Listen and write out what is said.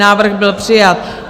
Návrh byl přijat.